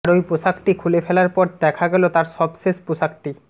আর ওই পোশাকটি খুলে ফেলার পর দেখা গেল তাঁর সবশেষ পোশাকটি